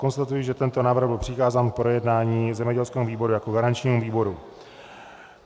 Konstatuji, že tento návrh byl přikázán k projednání zemědělskému výboru jako garančnímu výboru.